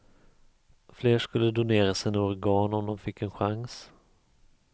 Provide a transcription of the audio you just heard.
Fler skulle donera sina organ om de fick en chans.